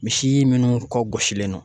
Misi minnu kɔ gosilen don